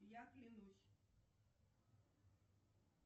я клянусь